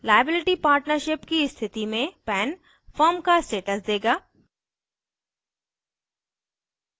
liability partnership सीमित दायित्व साझेदारी की स्थिति में pan firm का status देगा